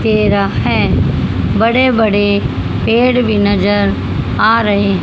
तेरह है बड़े बड़े पेड़ भी नजर आ रहे--